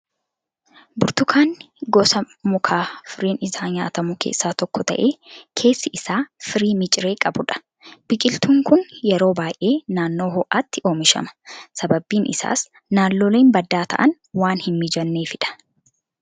Burtukaanni gosa mukaa firiin isaa nyaatamu keessaa tokko ta'ee, keessi isaa firii miciree qabudha. Biqiltuun kun yeroo baay'ee naannoo ho'aatti oomishama. Sababni isaas naannoleen baddaa ta'an waan hin mijanneefi dha.